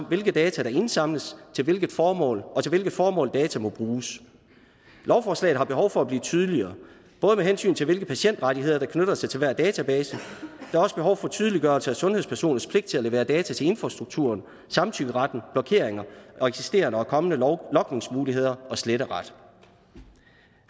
hvilke data der indsamles og til hvilke formål hvilke formål data må bruges lovforslaget har behov for at blive tydeligere både med hensyn til hvilke patientrettigheder der knytter sig til hver database tydeliggørelse af sundhedspersoners pligt til at levere data til infrastrukturen samtykkeretten blokeringer eksisterende og kommende logningsmuligheder og sletteret